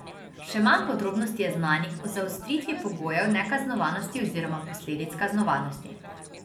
Še manj podrobnosti je znanih o zaostritvi pogojev nekaznovanosti oziroma posledic kaznovanosti.